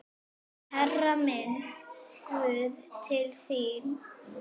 Hærra, minn guð, til þín.